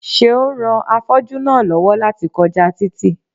Seun ran afọ́jú náà lọ́wọ́ láti kọjá títì